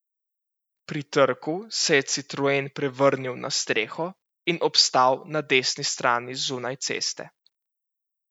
Pri trku se je citroen prevrnil na streho in obstal na desni strani zunaj ceste.